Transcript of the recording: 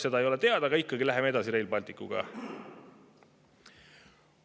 Seda ei ole teada, aga ikkagi läheme Rail Balticuga edasi.